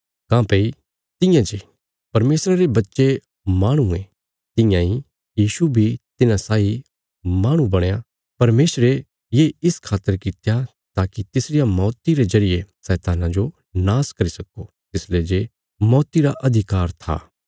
काँह्भई तियां जे परमेशरा रे बच्चे माहणु ये तियां इ यीशु बी तिन्हां साई माहणु बणया परमेशरे ये इस खातर कित्या ताकि तिसरिया मौती रे जरिये शैतान्ना जो नाश करी सक्को तिसले जे मौती रा अधिकार था